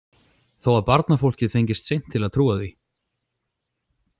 Þó að barnafólkið fengist seint til að trúa því.